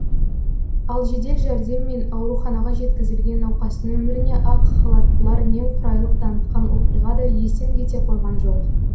ал жедел жәрдеммен ауруханаға жеткізілген науқастың өміріне ақ халаттылар немқұрайлық танытқан оқиға да естен кете қойған жоқ